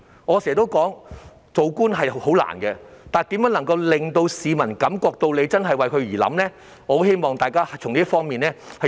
我經常說，做官是很難的，但如何能令市民感到政府真的有為他們着想呢？